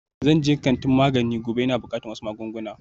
Zan je kantin magani gobe, ina buƙatar wasu magunguna